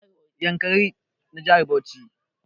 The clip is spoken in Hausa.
Yankari na jihar Bauchi